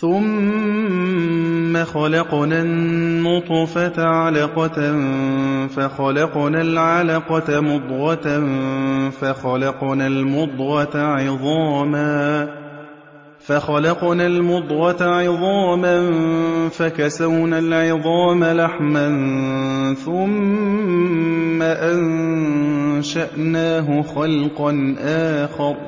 ثُمَّ خَلَقْنَا النُّطْفَةَ عَلَقَةً فَخَلَقْنَا الْعَلَقَةَ مُضْغَةً فَخَلَقْنَا الْمُضْغَةَ عِظَامًا فَكَسَوْنَا الْعِظَامَ لَحْمًا ثُمَّ أَنشَأْنَاهُ خَلْقًا آخَرَ ۚ